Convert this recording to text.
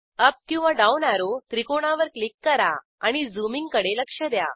up किंवा down arrow त्रिकोणावर click करा आणि झूमिंग कडे लक्ष द्या